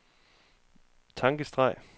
tankestreg